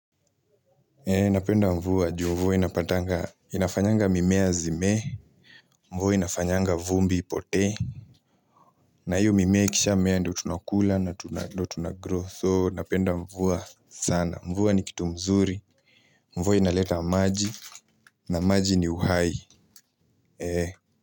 Napenda mvua juu mvua inafanyanga mimea zimee mvua inafanyanga vumbi ipote na hiyo mimea ikishamea ndio tunakula na tunagrow so napenda mvua sana mvua ni kitu mzuri mvua inaleta maji na maji ni uhai.